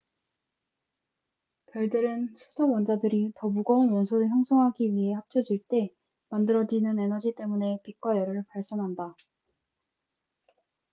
별들은 수소 원자들이 더 무거운 원소를 형성하기 위해 합쳐질 때 만들어지는 에너지 때문에 빛과 열을 발산한다